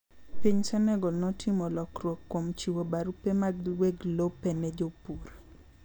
Piny Senegol notimo lokruok kuom chiwo barupe mag weg lope ne jopur.